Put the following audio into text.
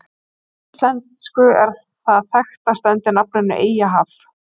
Á íslensku er það þekkast undir nafninu Eyjahaf.